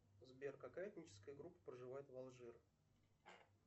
сбер какая этническая группа проживает в алжир